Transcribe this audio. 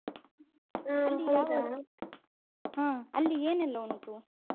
ಹ ಅಲ್ಲಿ ಏನೆಲ್ಲ ಉಂಟು?